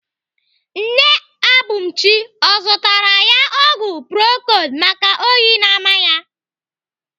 Nne Abumchi ọ zụtara ya ọgwụ procold maka oyi na-ama ya?